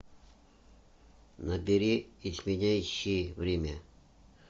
набери изменяющие время